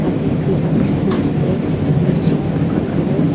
yatheh duida besna ase bedsheet buka colour .